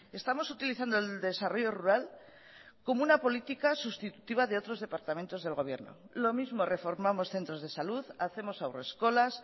estamos utilizando el desarrollo rural como una política sustitutiva de otros departamentos del gobierno lo mismo reformamos centros de salud hacemos haurreskolas